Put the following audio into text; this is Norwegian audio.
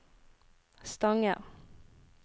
Stange